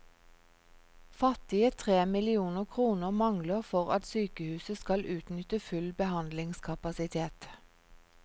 Fattige tre millioner kroner mangler for at sykehuset skal utnytte full behandlingskapasitet.